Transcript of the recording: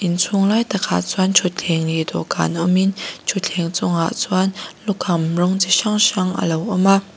inchhung lai takah chuan thutthleng leh dawhkan awmin thutthleng chungah chuan lukham rawng chi hrang hrang alo awm a.